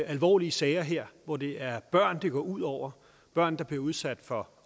alvorlige sager her hvor det er børn det går ud over børn der bliver udsat for